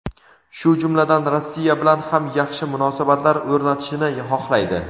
shu jumladan Rossiya bilan ham yaxshi munosabatlar o‘rnatishini xohlaydi.